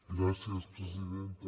gràcies presidenta